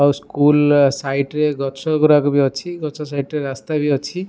ଆଉ school side ରେ ଗଛ ଗୁଡାକ ଅଛି ରାସ୍ତା ସାଇଡ ବି ଅଛି।